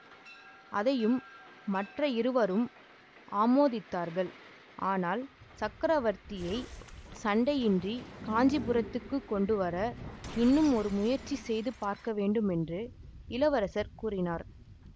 அதையும் மற்ற இருவரும் ஆமோதித்தார்கள் ஆனால் சக்கரவர்த்தியை சண்டையின்றிக் காஞ்சீபுரத்துக்குக் கொண்டு வர இன்னும் ஒரு முயற்சி செய்து பார்க்க வேண்டும் என்று இளவரசர் கூறினார்